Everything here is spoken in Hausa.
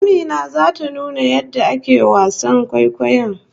Amina zata nuna yadda ake wasan kwaikwayo